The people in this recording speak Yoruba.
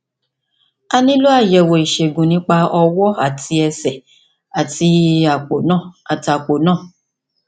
a nílò àyẹwò ìṣègùn nípa ọwọ àti ẹsẹ àti àpò náà àti àpò náà